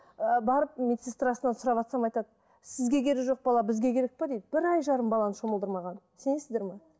ы барып медсестрасынан сұраватсам айтады сізге керек жоқ бала бізге керек пе дейді бір ай жарым баланы шомылдырмаған сенесіздер ме